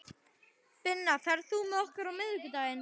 Binna, ferð þú með okkur á miðvikudaginn?